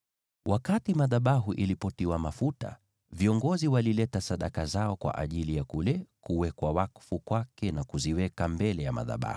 Wakati madhabahu yalitiwa mafuta, viongozi walileta sadaka zao kwa ajili ya kule kuwekwa wakfu kwake na kuziweka mbele ya madhabahu.